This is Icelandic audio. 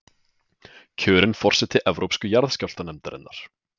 Kjörin forseti Evrópsku jarðskjálftanefndarinnar